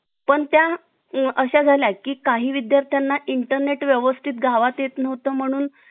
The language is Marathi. पण त्या अ अशा झाला की काही विद्यार्थ्यांना internet व्यवस्थित गावात येत नव्हत म्हणून